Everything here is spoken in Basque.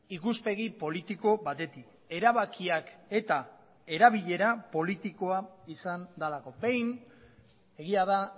ikuspegi politiko batetik erabakiak eta erabilera politikoa izan delako behin egia da